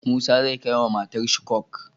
Musa zai kai wa matar shi coke